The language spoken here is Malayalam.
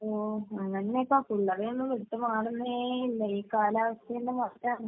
ഓഹ്. അങ്ങനെ ഇപ്പൊ പിള്ളേരെയൊന്നും വിട്ട് മാറുന്നേയില്ല. ഈ കാലാവസ്ഥഎല്ലാം മോശമാണെന്ന്.